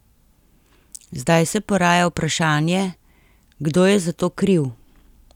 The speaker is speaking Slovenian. Zdaj se poraja vprašanje, kdo je za to kriv?